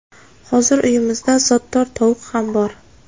Hozir uyimizda zotdor tovuq ham bor.